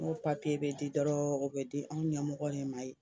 n'o papiye bɛ di dɔrɔn o bɛ di anw ɲɛmɔgɔ de ma yen